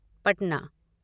Patna